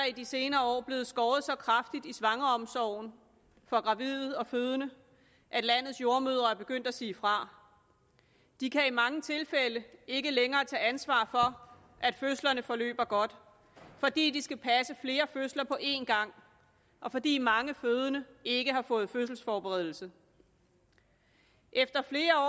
i de senere år blevet skåret så kraftigt i svangreomsorgen for gravide og fødende at landets jordemødre er begyndt at sige fra de kan i mange tilfælde ikke længere tage ansvar for at fødslerne forløber godt fordi de skal passe flere fødsler på en gang og fordi mange fødende ikke har fået fødselsforberedelse efter flere